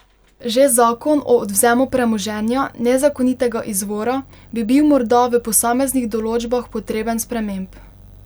Že zakon o odvzemu premoženja nezakonitega izvora bi bil morda v posameznih določbah potreben sprememb.